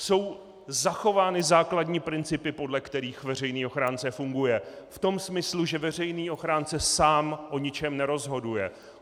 Jsou zachovány základní principy, podle kterých veřejný ochránce funguje v tom smyslu, že veřejný ochránce sám o ničem nerozhoduje.